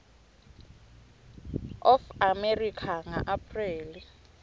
of america ngaapreli